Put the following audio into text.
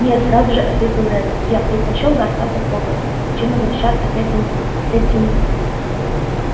нет сразу же ответил реддл я предпочёл бы остаться в хогвартсе чем возвращаться к этим к этим